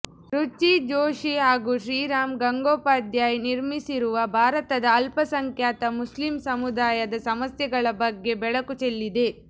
ರುಚಿ ಜೋಶಿ ಹಾಗೂ ಶ್ರೀರಾಮ್ ಗಂಗೋಪಾಧ್ಯಾಯ್ ನಿರ್ಮಿಸಿರುವ ಭಾರತದ ಅಲ್ಪಸಂಖ್ಯಾತ ಮುಸ್ಲಿಂ ಸಮುದಾಯದ ಸಮಸ್ಯೆಗಳ ಬಗ್ಗೆ ಬೆಳಕು ಚೆಲ್ಲಿದೆ